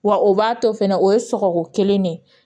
Wa o b'a to fɛnɛ o ye sɔgɔko kelen de ye